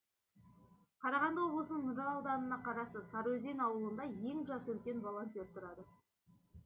қарағанды облысының нұра ауданына қарасты сарыөзен ауылында ең жасы үлкен волонтер тұрады